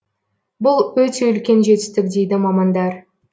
бұл өте үлкен жетістік дейді мамандар